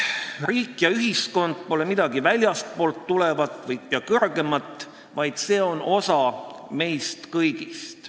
Riik ja ühiskond pole midagi väljastpoolt tulevat ja kõrgemat, vaid see on osa meist kõigist.